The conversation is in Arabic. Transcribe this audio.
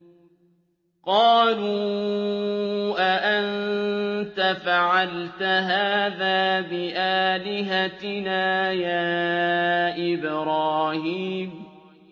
قَالُوا أَأَنتَ فَعَلْتَ هَٰذَا بِآلِهَتِنَا يَا إِبْرَاهِيمُ